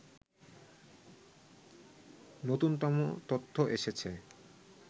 নতুনতম তত্ত্ব এসেছে